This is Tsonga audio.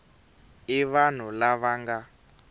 i vanhu lava va nga